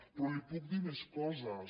però li puc dir més coses